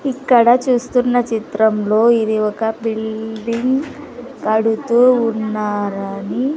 ఇక్కడ చూస్తున్న చిత్రంలో ఇది ఒక బిల్డింగ్ కడుతూ ఉన్నారని--